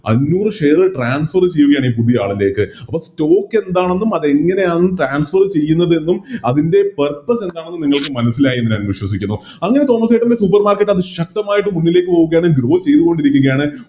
അഞ്ഞൂറ് Share transfer ചെയ്യുകയാണ് ഈ പുതിയ ആളിലേക്ക് അപ്പൊ Stock എന്താണെന്നും അതെങ്ങനെയാണ് Tranfer ചെയ്യുന്നതെന്നും അതിൻറെ Purpose എന്താണെന്നും നിങ്ങൾക്ക് മനസ്സിലായി എന്ന് ഞാൻ വിശ്വസിക്കുന്നു അങ്ങനെ തോമാസേട്ടൻറെ Supermarket അതി ശക്തമായിട്ട് മുന്നിലേക്ക് പോവുകയാണ് ചെയ്തുകൊണ്ടിരിക്കുകയാണ്